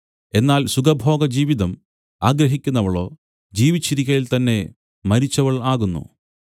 എന്നാൽ സുഖഭോഗജീവിതം ആഗ്രഹിക്കുന്നവളോ ജീവിച്ചിരിക്കയിൽ തന്നെ മരിച്ചവൾ ആകുന്നു